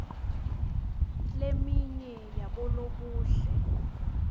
leminye yabolobuhle